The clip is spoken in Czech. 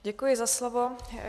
Děkuji za slovo.